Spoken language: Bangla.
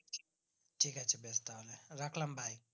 ঠিক আছে বেশ তাহলে রাখলাম ভাই